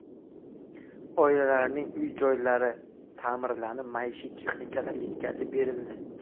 Oilalarning uy-joylari ta’mirlanib, maishiy texnikalar yetkazib berildi.